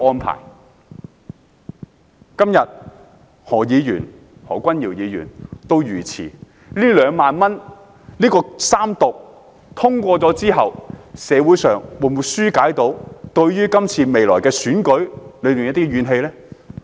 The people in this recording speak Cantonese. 何君堯議員今天遇刺一事後，《條例草案》三讀通過能否紓解社會對即將來臨的選舉的怨氣呢？